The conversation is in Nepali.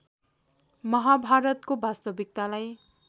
महाभारतको वास्तविकतालाई